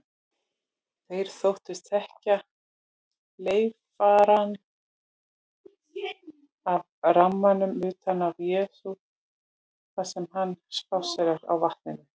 Þeir þóttust þekkja leifarnar af rammanum utan af Jesú þar sem hann spásséraði á vatninu.